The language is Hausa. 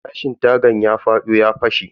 Gilashin tagan ya fado ya fashe.